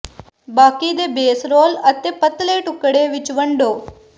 ਬਾਕੀ ਦੇ base roll ਅਤੇ ਪਤਲੇ ਟੁਕੜੇ ਵਿਚ ਵੰਡੋ